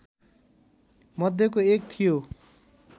मध्येको एक थियो